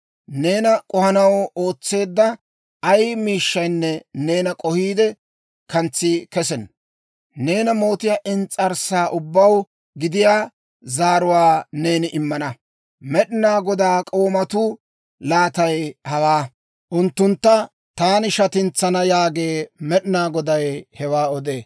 Neena k'ohanaw ootseedda ay miishshaynne neena k'ohiide kantsi kesenna. Neena mootiyaa ins's'arssa ubbaw gidiyaa zaaruwaa neeni immana. Med'inaa Godaa k'oomatuu laatay hawaa; unttuntta taani shatintsana» yaagee. Med'inaa Goday hewaa odee.